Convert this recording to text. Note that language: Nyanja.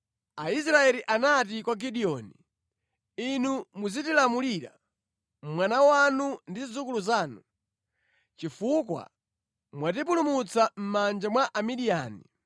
Aisraeli anati kwa Gideoni, “Inu muzitilamulira, mwana wanu ndi zidzukulu zanu, chifukwa mwatipulumutsa mʼmanja mwa Amidiyani.”